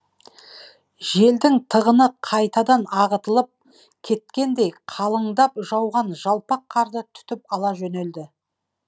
желдің тығыны қайтадан ағытылып кеткендей қалыңдап жауған жалпақ қарды түтіп ала жөнелді